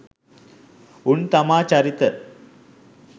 උන් තමා චරිත